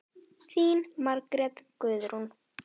Þín Margrét Guðrún.